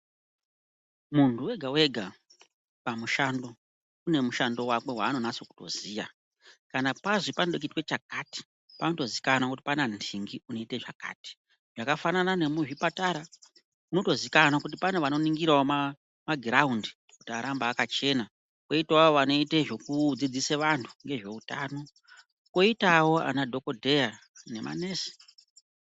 Muntu wega wega pamushando une mushando wake waano nyatso kutoziya, kana pazi panode kuitwe chakati panotoziikanwa kuti pana nhingi unoite zvakati, zvakafanana nomuzvipatara zvinotoziikanwa kuti pane anoningirewo magiraundi kuti arambe akachena koitawo vanoite ngezvekudzidzisawo vantu ngezveutano koitawo anadhokodheya nemanesi.